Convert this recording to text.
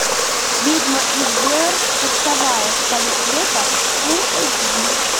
ведьма из блэр курсовая с того света фул эйч ди